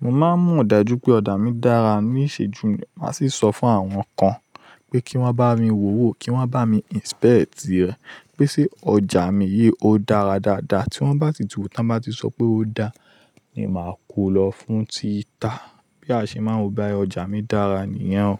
Mo máa ń mo dájú pé ọjà mi dára, ní ìṣéjú máa sì sọ fún àwọn kan pé kí wọ́n bá mi wò ó, kí wọ́n bá mi isipeti rẹ, pé ṣe ọjà mi yìí ó dára dáadáa. Tí wọ́n bá si ti tu, bá ti sọ pé ó dáa ni màá kú lọ fún títa bí a ṣe máa ń gba ọjà mi dára nìyẹn o,